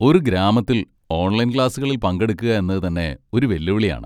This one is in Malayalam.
ഒരു ഗ്രാമത്തിൽ ഓൺലൈൻ ക്ലാസുകളിൽ പങ്കെടുക്കുക എന്നത് തന്നെ ഒരു വെല്ലുവിളിയാണ്.